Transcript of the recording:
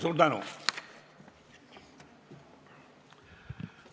Suur tänu!